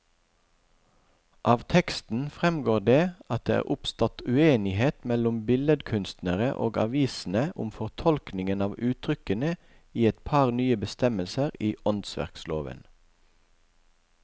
Av teksten fremgår det at det er oppstått uenighet mellom billedkunstnerne og avisene om fortolkningen av uttrykkene i et par nye bestemmelser i åndsverkloven.